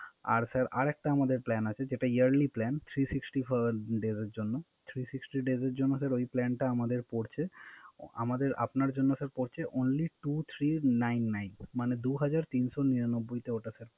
আর Sir আর একটা আমাদের Plan আছে যেটা Yearly plan three sixty days এর জন্য এ Plan টা আমাদের আপনার জন্য পরছে Only two three nine nine মানে দু হাজার তিনশত নিরানব্বই